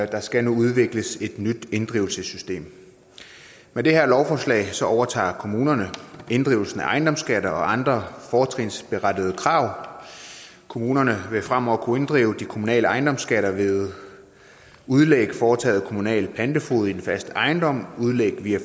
der skal nu udvikles et nyt inddrivelsessystem med det her lovforslag overtager kommunerne inddrivelsen af ejendomsskatter og andre fortrinsberettigede krav kommunerne vil fremover kunne inddrive de kommunale ejendomsskatter ved udlæg foretaget af en kommunal pantefoged i fast ejendom udlæg via